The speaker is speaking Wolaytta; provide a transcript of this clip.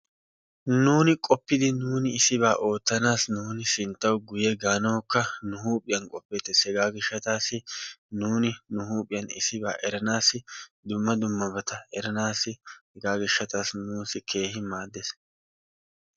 Nuuni qooppidi issibaa oottaanasi nuuni sinttaw guyye gaanawukka nu huuphphiyaan qoppiyoode nu huuphphiyaan issibaa eranaassi dumma dummabata eranaassi hegaa giishshatasi nuusi keehi maaddees.